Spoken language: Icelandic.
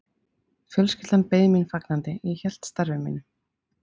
Fjölskyldan beið mín fagnandi, ég hélt starfi mínu.